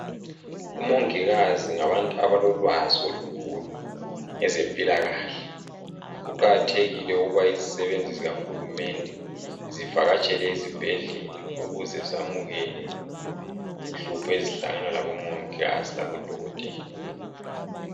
omongikazi ngabantu abalolwazi olukhulu ngezempilakahle kuqakathekile ukuba izisebenzi zikahulumende zivakatshele ezibhedlela ukuze zamukele inhlupho ezihangana labo mongikazi labo dokotela